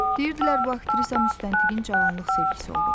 Deyirdilər bu aktrisa müstəntiqin cavanlıq sevgisi olub.